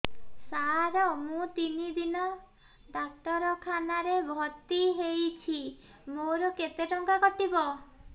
ସାର ମୁ ତିନି ଦିନ ଡାକ୍ତରଖାନା ରେ ଭର୍ତି ହେଇଛି ମୋର କେତେ ଟଙ୍କା କଟିବ